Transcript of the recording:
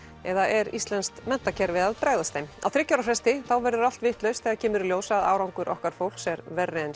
eða er íslenskt menntakerfi að bregðast þeim á þriggja ára fresti verður allt vitlaust þegar kemur í ljós að árangur okkar fólks er verri en